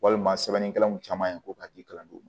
Walima sɛbɛnnikɛlaw caman ye ko k'i kalan d'u ma